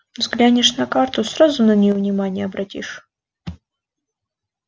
взглянешь на карту сразу на нее внимание обратишь